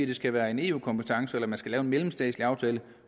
det skal være en eu kompetence eller at man skal lave en mellemstatslig aftale